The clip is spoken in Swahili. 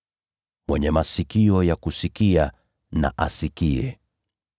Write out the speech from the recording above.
Mwenye masikio ya kusikia, na asikie.”